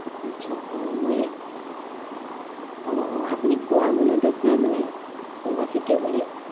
আহ মই আহ আহ আপুনি কোৱা মনত আছে মানে, কোনোবা থাকে বুলি।